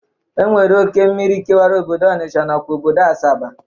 E nwere oke mmiri kewara obodo Ọnisha nakwa obodo Asaba.